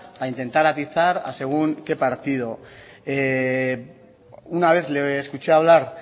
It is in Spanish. para intentar atizar a según que partido una vez le escuché hablar